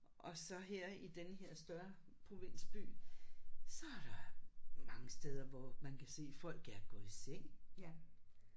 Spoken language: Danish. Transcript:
Og så her i denne her større provinsby så er der mange steder hvor man kan se folk er gået i seng